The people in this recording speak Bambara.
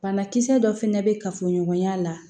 Banakisɛ dɔ fɛnɛ bɛ kafoɲɔgɔnya la